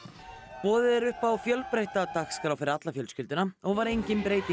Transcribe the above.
boðið er upp á fjölbreytta dagskrá fyrir alla fjölskylduna og var engin breyting